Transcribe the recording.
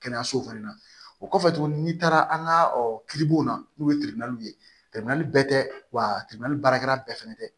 Kɛnɛyaso fɛnɛ na o kɔfɛ tuguni n'i taara an ka kiiribulon na n'u ye ye bɛɛ tɛ wa baarakɛla bɛɛ fɛnɛ tɛ